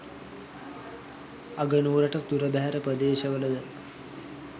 අගනුවරට දුරබැහැර ප්‍රදේශවලද